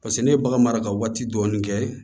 Paseke ne ye bagan mara ka waati dɔɔnin kɛ